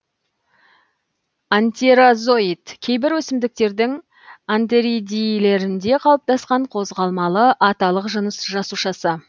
антерозоид кейбір өсімдіктердің антеридийлерінде қалыптаскан қозғалмалы аталық жыныс жасушасы